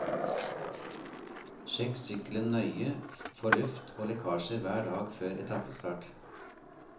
Sjekk sykkelen nøye for luft og lekkasjer hver dag før etappestart.